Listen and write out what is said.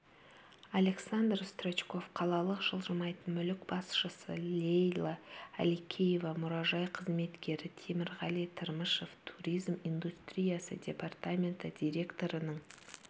александр строчков қалалық жылжымайтын мүлік басшысы лейла әликеева мұражай қызметкері темірғали тырмышев туризм индустриясы департаменті директорының